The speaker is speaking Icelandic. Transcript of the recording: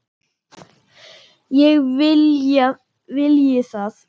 Ég vilji það?